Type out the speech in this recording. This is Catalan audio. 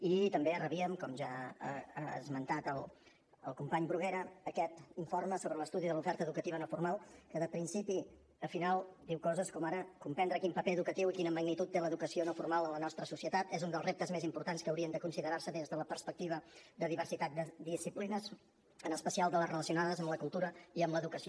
i també rebíem com ja ha esmentat el company bruguera aquest informe sobre l’estudi de l’oferta educativa no formal que de principi a final diu coses com ara comprendre quin paper educatiu i quina magnitud té l’educació no formal en la nostra societat és un dels reptes més importants que haurien de considerar se des de la perspectiva de diversitat de disciplines en especial de les relacionades amb la cultura i amb l’educació